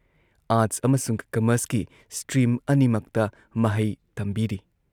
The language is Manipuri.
ꯑꯥꯔꯠꯁ ꯑꯃꯁꯨꯡ ꯀꯝꯃꯔꯁꯀꯤ ꯁ꯭ꯇ꯭ꯔꯤꯝ ꯑꯅꯤꯃꯛꯇ ꯃꯍꯩ ꯇꯝꯕꯤꯔꯤ ꯫